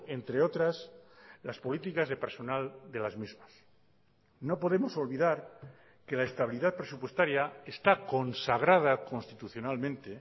entre otras las políticas de personal de las mismas no podemos olvidar que la estabilidad presupuestaria está consagrada constitucionalmente